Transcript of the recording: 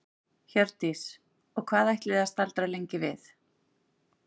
Hjördís: Og ætlið þið að staldra lengi við?